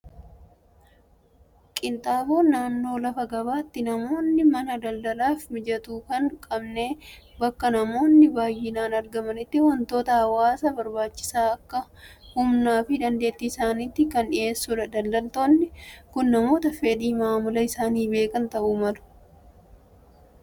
Qinixaaboon naannoo lafa gabaatti namoonni mana daldalaaf mijatu hin qabne bakkee namoonni baayyinaan argamanitti wantoota hawwaasaaf barbaachisan akka humnaa fi dandeettii isaaniitti kan dhiheessudha. Daldaaltonni kun namoota fedhii maamila isaani beekan ta'uu malu.